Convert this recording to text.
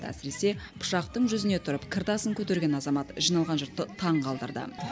әсіресе пышақтың жүзіне тұрып кір тасын көтерген азамат жиналған жұртты таңғалдырды